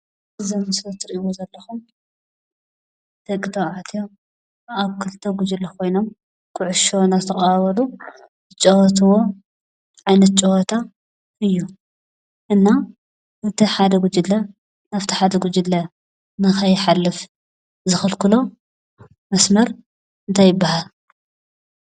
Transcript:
ዘም ስሰብ ትርኢዎ ዘለኹም ተባዕትዮ ኣብ ክልተ ጕጅሊ ኾይኖም ዂዑሻ ናዝ ተቓሃበሉ ዝጨወትዎ ዓይነት ጨወታ እዩ እና እቲ ሓደ ጉጅለ ናብቲ ሓደ ጕጅለ ንኸይኃልፍ ዝኽልክሎ መስመር ታይ ይበሃል ?